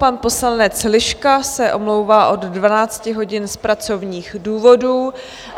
Pan poslanec Liška se omlouvá od 12 hodin z pracovních důvodů.